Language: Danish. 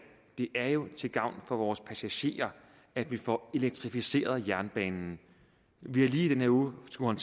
er det jo til gavn for vores passagerer at vi får elektrificeret jernbanen vi har lige i denne uge skullet